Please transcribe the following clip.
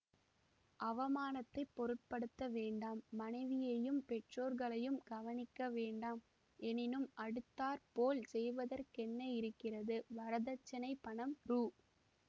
அவமானத்தைப் பொருட்படுத்த வேண்டாம் மனைவியையும் பெற்றோர்களையும் கவனிக்க வேண்டாம் எனினும் அடுத்தாற்போல் செய்வதற்கென்ன இருக்கிறது வரதட்சிணைப் பணம் ரூ